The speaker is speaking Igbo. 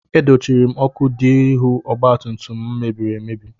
E dochiri m ọkụ dị n'ihu ọgbatumtum m mebiri emebi.